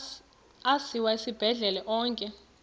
asiwa esibhedlele onke